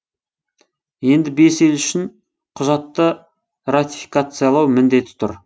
енді бес ел үшін құжатты ратификациялау міндеті тұр